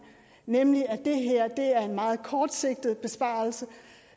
nemlig at det her er en meget kortsigtet besparelse